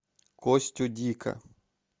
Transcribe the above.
костю дика